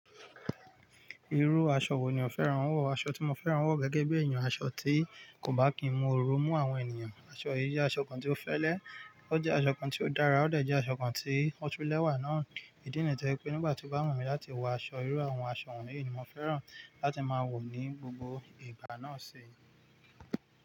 Irú aṣọ wo ni o fẹ́ran wọ̀? Aṣọ tí mo fẹ́ran wọ̀ gẹ́gẹ́ bí èèyàn, aṣọ tí kò bá kí n mú oru mú àwọn ènìyàn, aṣọ yìí jẹ́ aṣọ kan tí ó fẹ́lẹ́, ó jẹ́ aṣọ kan tí ó dára, ó dàjẹ́ aṣọ kan tí ó tún lẹ́wà náà. Ìdí nìyẹn to jẹ́ pé nígbà tí ó bá wù mí láti wọ aṣọ, irú àwọn aṣọ wọ̀nyí ni mo fẹ́ran láti máa wọ̀ ní gbogbo ìgbà náà ṣi.